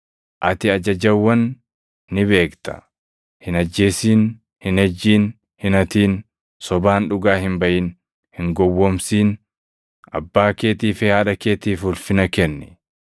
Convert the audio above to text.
Ati ajajawwan ni beekta; ‘Hin ajjeesin; hin ejjin; hin hatin; sobaan dhugaa hin baʼin; hin gowwoomsin; abbaa keetii fi haadha keetiif ulfina kenni.’ + 10:19 \+xt Bau 20:12; KeD 5:16‑20\+xt* ”